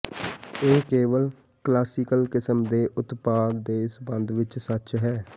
ਇਹ ਕੇਵਲ ਕਲਾਸੀਕਲ ਕਿਸਮ ਦੇ ਉਤਪਾਦ ਦੇ ਸੰਬੰਧ ਵਿਚ ਸੱਚ ਹੈ